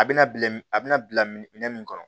A bɛna bila min a bɛna bila minɛ min kɔnɔ